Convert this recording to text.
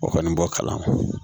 O kɔni b'o kalan